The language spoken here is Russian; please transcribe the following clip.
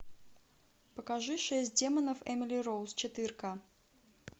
покажи шесть демонов эмили роуз четыре к